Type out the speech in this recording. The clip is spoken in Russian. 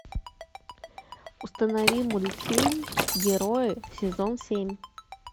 установи мультфильм герои сезон семь